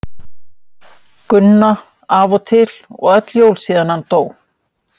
Gunna af og til og öll jól síðan hann dó.